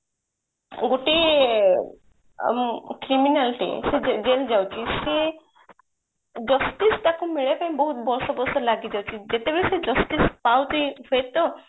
ଗୋଟେ criminal ଟେ ସେ jail ଯାଉଛି ସେ justice ତାକୁ ମିଳିଲା ପାଇଁ ତାକୁ ବର୍ଷ ବର୍ଷ ଲାଗି ଯାଉଛି ଯେତେବେଳେ ସେ justice ପାଉଛି ସେ ତ